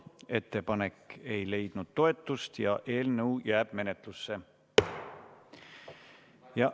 Ettepanek ei leidnud toetust ja eelnõu jääb menetlusse.